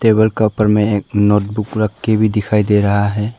Wall का ऊपर में एक नोटबुक रख के भी दिखाई दे रहा है।